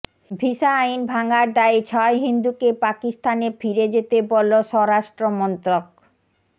visa আইন ভাঙার দায়ে ছয় হিন্দুকে পাকিস্তানে ফিরে যেতে বলল স্বরাষ্ট্রমন্ত্রক